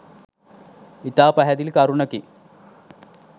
ඉතා පැහැදිලි කරුණකි.